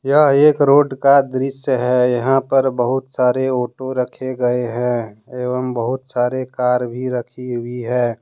यह एक रोड का दृश्य है यहां पर बहुत सारे ऑटो रखे गए हैं एवं बहुत सारे कार भी रखी हुई है।